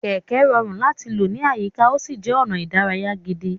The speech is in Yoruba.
Kẹ̀kẹ́ rọrùn láti lò ní àyíká, ó sì jẹ́ ọ̀nà ìdárayá gidi.